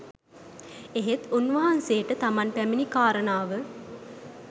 එහෙත් උන්වහන්සේට තමන් පැමිණි කාරණාව